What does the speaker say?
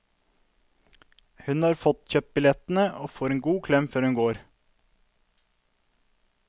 Hun har fått kjøpt billettene, og får en god klem før hun går.